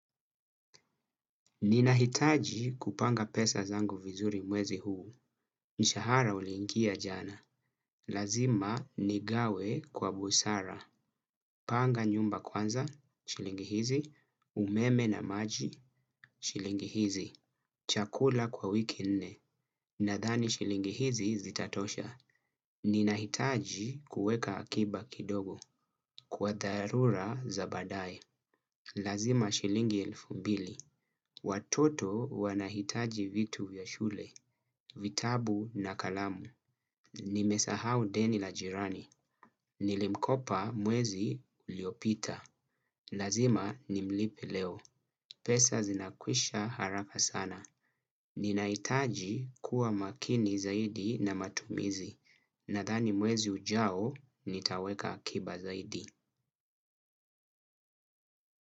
Ninahitaji kupanga pesa zangu vizuri mwezi huu. Mshahara uliingia jana, lazima nigawe kwa busara. Panga nyumba kwanza, shilingi hizi, umeme na maji, shilingi hizi. Chakula kwa wiki nne, nadhani shilingi hizi zitatosha. Ninahitaji kuweka akiba kidogo kwa dharura za baadae. Lazima shilingi elfu mbili. Watoto wanahitaji vitu vya shule, vitabu na kalamu. Nimesahau deni la jirani. Nilimkopa mwezi uliopita, lazima nimlipe leo. Pesa zinakwisha haraka sana. Ninahitaji kuwa makini zaidi na matumizi, nadhani mwezi ujao nitaweka akiba zaidi.